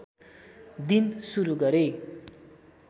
दिन सुरू गरे